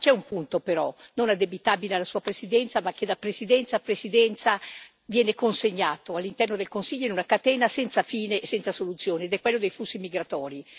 Ma c'è un punto, però, non addebitabile alla Sua Presidenza, ma che da Presidenza a Presidenza viene consegnato all'interno del Consiglio in una catena senza fine e senza soluzione, ed è quello dei flussi migratori.